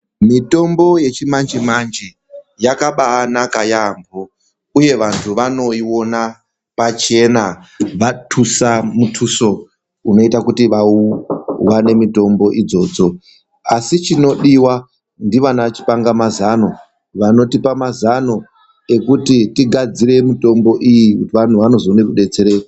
Mitombo yechimanje manje yakabanaka yaamho, uye vanhu vanoiona pachena vantusa muntuso unoita kuti vawane mitombo idzodzo, asi chinodiwa ndiana chipangamazano vanotipa mazano ekuti tigadzire mitombo iyi vantu vazoone kudetsereka.